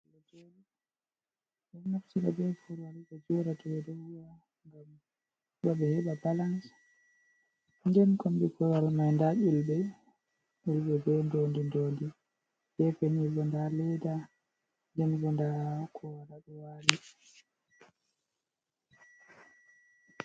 Ɓe ɗon naftira be korwal bo joɗa dow ngam bo ɓe heɓa balans, je kombi korwar mai nda yulɓe be dondi, dondi be penigo, nda leda jamgo, nda ko waɗa ɓe wali.